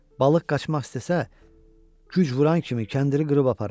Balıq qaçmaq istəsə, güc vuran kimi kəndiri qırıb aparar.